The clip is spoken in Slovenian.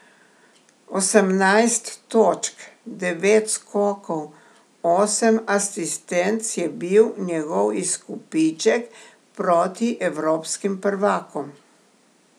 Osemnajst točk, devet skokov, osem asistenc je bil njegov izkupiček proti evropskim prvakom.